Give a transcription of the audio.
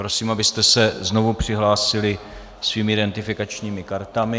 Prosím, abyste se znovu přihlásili svými identifikačními kartami.